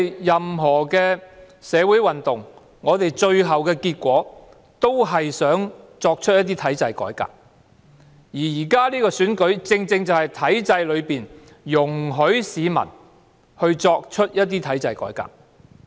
任何社會運動的最後結果，是想作出一些體制改革。而現時的選舉正是體制容許的機會，讓市民作出一些體制改革。